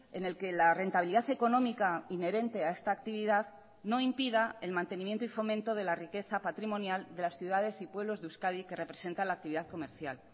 en el que la rentabilidad económica inherente a esta actividad no impida el mantenimiento y fomento de la riqueza patrimonial de las ciudades y pueblos de euskadi que representa la actividad comercial